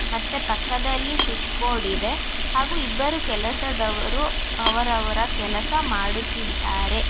ಮತ್ತೆ ಪಕ್ಕದಲ್ಲಿ switch board ಇದೆ ಹಾಗೂ ಇಬ್ಬರು ಕೆಲಸದವರು ಅವರವರ ಕೆಲಸ ಮಾಡುತ್ತಿದ್ದಾರೆ.